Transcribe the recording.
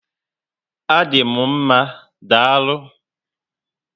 A dị m mmá, daalụ